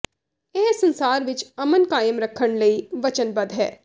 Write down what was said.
ਇਹ ਸੰਸਾਰ ਵਿੱਚ ਅਮਨ ਕਾਇਮ ਰੱਖਣ ਲਈ ਵਚਨਬੱਧ ਹੈ